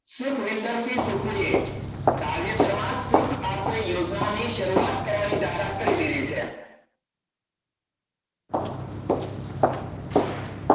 સુખવિંદરસિંહસુખુ એ તાજેતરમાં જ સુખ આચરણ યોજનાની શરૂઆત કરવાની જાહેરાત કરી દીધી છે.